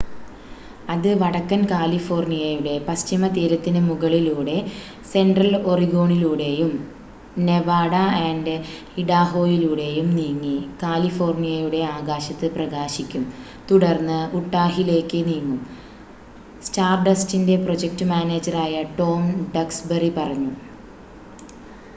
"" അത് വടക്കൻ കാലിഫോർണിയയുടെ പശ്ചിമ തീരത്തിനു മുകളിലൂടെ സെൺട്രൽ ഒറിഗോണിലൂടെയും നെവാഡ ആൻഡ് ഇഡാഹോയിലൂടെയും നീങ്ങി കാലിഫോർണിയയുടെ ആകാശത്ത് പ്രകാശിക്കും തുടർന്ന് ഉട്ടാഹിലേക്ക് നീങ്ങും," സ്റ്റാർഡസ്റ്റിന്റെ പ്രൊജക്ട് മാനേജറായ ടോം ഡക്സ്ബറി പറഞ്ഞു.